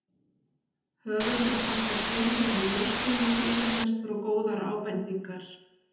Höfundur þakkar Sveinbirni Björnssyni yfirlestur og góðar ábendingar.